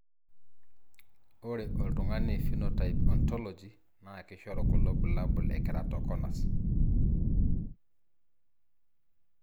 ore oltungani Phenotype Ontology na kishoru kulo bulabul e keratoconus.